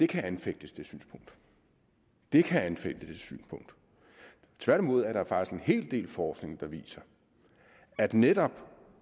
kan anfægtes det kan anfægtes tværtimod er der faktisk en hel del forskning der viser at netop